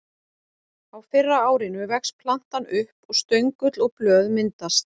Á fyrra árinu vex plantan upp og stöngull og blöð myndast.